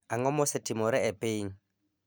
Ang'o mosetimore e piny